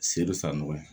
Seli san nɔgɔ ye